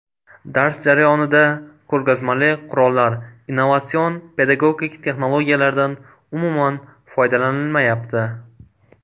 Dars jarayonida ko‘rgazmali qurollar, innovatsion pedagogik texnologiyalardan umuman foydalanilmayapti”.